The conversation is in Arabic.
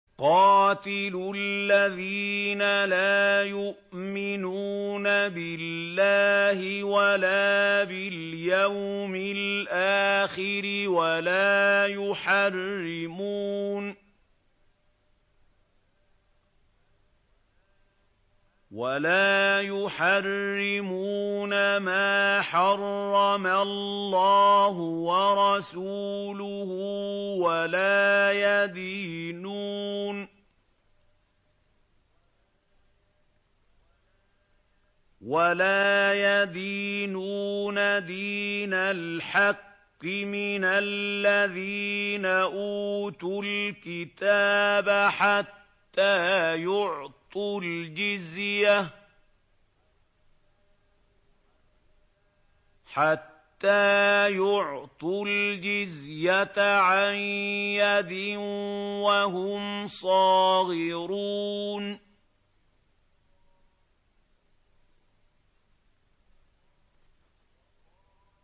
قَاتِلُوا الَّذِينَ لَا يُؤْمِنُونَ بِاللَّهِ وَلَا بِالْيَوْمِ الْآخِرِ وَلَا يُحَرِّمُونَ مَا حَرَّمَ اللَّهُ وَرَسُولُهُ وَلَا يَدِينُونَ دِينَ الْحَقِّ مِنَ الَّذِينَ أُوتُوا الْكِتَابَ حَتَّىٰ يُعْطُوا الْجِزْيَةَ عَن يَدٍ وَهُمْ صَاغِرُونَ